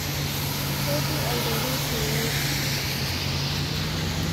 Ketii aiteru teinoto.